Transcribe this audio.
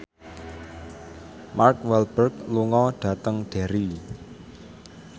Mark Walberg lunga dhateng Derry